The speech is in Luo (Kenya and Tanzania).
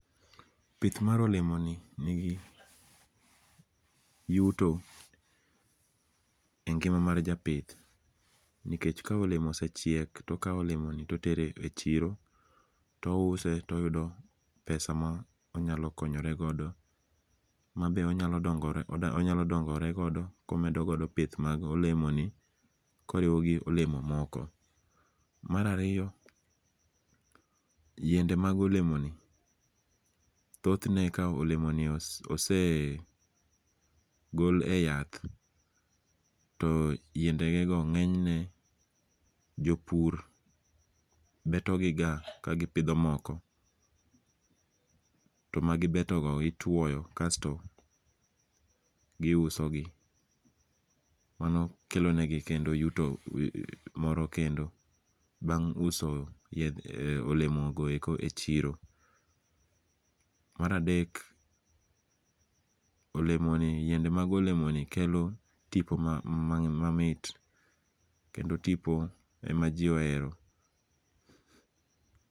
Pith mar alemoni nigi yuto e ngima mar japith nikech ka olemo osechiek to okawo olemoni to otere e chiro to ouse toyudo pesa monyalo konyoregodo. Mabe onyalo dongoregodo komedogodo pith mago olemo ni koriwo golemo moko. Mar ariyo, yiende mag olemo ni thoth ne ka olemo ni ose gol e yath to yiendege go ng'enyne jopur beto gi ga kagipidho moko. To magibeto go itwoyo kasto giuso gi. Mano kelonegi kendo yuto moro kendo bang' uso olemo go eko e chiro. Mar adek, olemoni yiende mag olemoni kelo tipo mamit kendo tipo ema ji ohero.